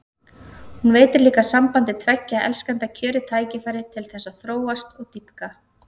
Hún veitir líka sambandi tveggja elskenda kjörið tækifæri til þess að þróast og dýpka.